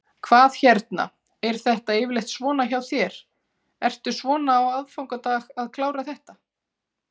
Hvað hérna, er þetta yfirleitt svona hjá þér, ertu svona á aðfangadag að klára þetta?